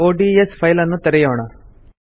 ODS file ನ್ನು ತೆರೆಯೋಣ